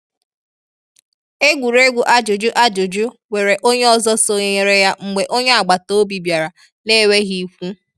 Egwuregwu ajụjụ ajụjụ nwere onye ọzọ sonyere ya mgbe onye agbataobi bịara na-enweghị ikwu.